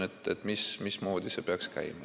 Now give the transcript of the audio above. Küsimus on, mismoodi see peaks käima.